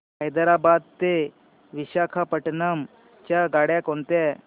हैदराबाद ते विशाखापट्ण्णम च्या गाड्या कोणत्या